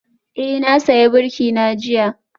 Eh, na sayi birki na jiya